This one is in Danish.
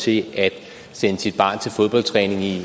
til at sende sit barn til fodboldtræning i